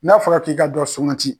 N'a fɔra k'i ka dɔ sukanti